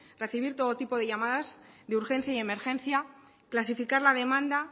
recibir todo tipo de llamadas de urgencia y emergencia clasificar la demanda